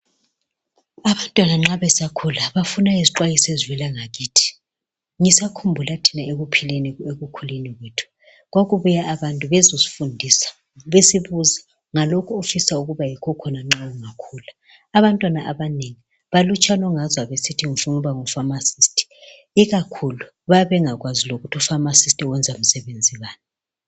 Abantwana nxa besakhula, bafuna izixwayiso ezivela ngakithi. Ngisakhumbula ekukhuleni kwethu kwakubuya abantu bezesifundisa besibuze ngalokho esifuna ukuba yikho khona nxa singakhula. Abantwana abanengi balutshwana ongezwa besithi ngifuna ukuba ngu pharmacist. Ikakhulu bayabe bengakwazi lokutthi u pharmacist usebenzani.